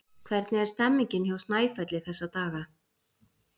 Hvernig er stemningin hjá Snæfelli þessa dagana?